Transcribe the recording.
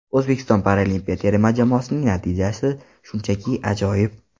O‘zbekiston paralimpiya terma jamoasining natijasi shunchaki ajoyib.